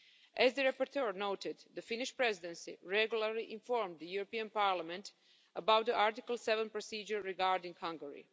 As the rapporteur noted, the Finnish Presidency regularly informed the European Parliament about the Article 7 procedure regarding Hungary.